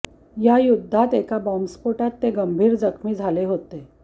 या युद्धात एका बॉम्बस्फोटात ते गंभीर जखमी झाले होते